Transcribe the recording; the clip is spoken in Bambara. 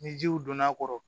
Ni jiw donn'a kɔrɔ